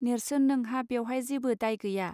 नेर्सोन नोंहा बेवहाय जेबो दाय गैया